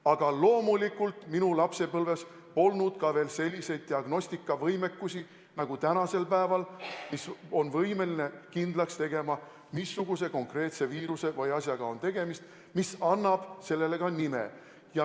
Aga loomulikult minu lapsepõlves polnud ka veel sellist diagnostikavõimekust nagu tänasel päeval, kui on võimalik kindlaks teha, missuguse konkreetse viiruse või muu asjaga on tegemist, mis annab tõvele ka nime.